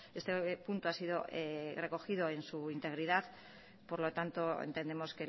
este punto ha sido recogido en su integridad y por lo tanto entendemos